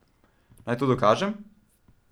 Naj to dokažem?